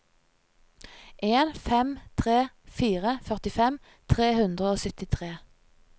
en fem tre fire førtifem tre hundre og syttitre